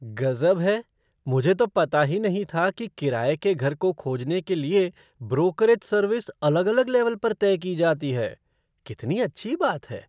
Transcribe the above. गज़ब है, मुझे तो पता ही नहीं था कि किराये के घर को खोजने के लिए ब्रोकरेज़ सर्विस अलग अलग लेवल पर तय की जाती है! कितनी अच्छी बात है।